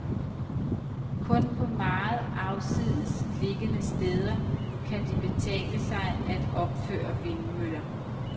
Kun på meget afsides liggende steder kan det betale sig at opføre vindmøller.